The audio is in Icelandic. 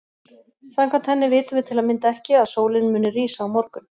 Samkvæmt henni vitum við til að mynda ekki að sólin muni rísa á morgun.